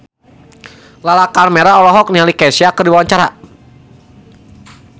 Lala Karmela olohok ningali Kesha keur diwawancara